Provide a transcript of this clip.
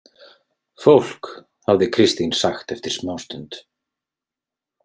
Fólk, hafði Kristín sagt eftir smástund.